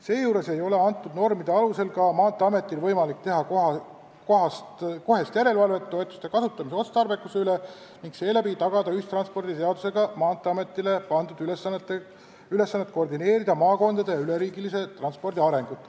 Seejuures ei ole antud normide alusel Maanteeametil võimalik teha kohest järelevalvet toetuste kasutamise otstarbekuse üle ning seeläbi tagada ühistranspordiseadusega Maanteeametile pandud ülesannet koordineerida maakondade ja üleriigilise ühistranspordi arengut.